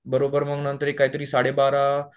बरोबर मग नंतर एक काहीतरी साडे बारा